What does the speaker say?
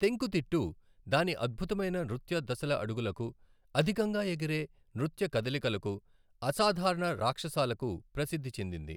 తెంకుతిట్టు దాని అద్భుతమైన నృత్య దశలఅడుగులకు, అధికంగా ఎగిరే నృత్య కదలికలకు, అసాధారణ రాక్షసాలకు ప్రసిద్ధి చెందింది.